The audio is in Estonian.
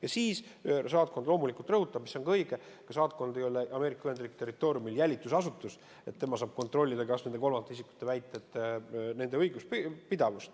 Ja saatkond loomulikult rõhutab, mis on ka õige, et saatkond ei ole Ameerika Ühendriikide territooriumil jälitusasutus, kes saaks kontrollida, kas nende kolmandate isikute väited on õiguslikult pidavad.